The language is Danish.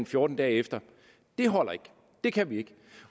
fjorten dage efter holder ikke det kan vi ikke